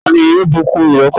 ta ni yóò bùkún ìrẹ́pọ̀ wọn?